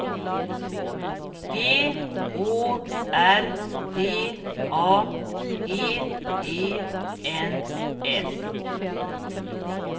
G Å R D A G E N S